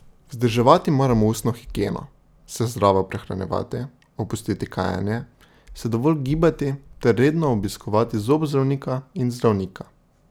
Vzdrževati moramo ustno higieno, se zdravo prehranjevati, opustiti kajenje, se dovolj gibati ter redno obiskovati zobozdravnika in zdravnika.